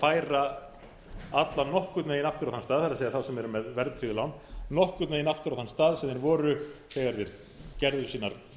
færa alla nokkurn veginn aftur á þann stað það er þeirra sem eru með verðtryggð lán nokkurn veginn aftur á þann stað sem þeir voru þegar þeir tóku sínar